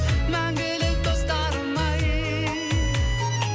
мәңгілік достарым ай